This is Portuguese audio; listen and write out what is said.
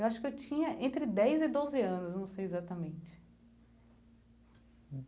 Eu acho que eu tinha entre dez e doze anos, não sei exatamente.